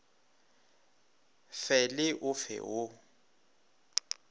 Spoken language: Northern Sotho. fe le o fe wo